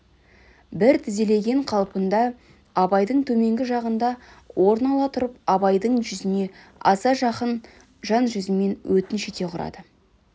бір тізелеген қалпында абайдың төменгі жағынан орын ала тұрып абайдың жүзіне аса жақын жан жүзімен өтініш ете қарады